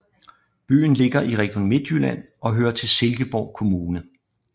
Byen ligger i Region Midtjylland og hører til Silkeborg Kommune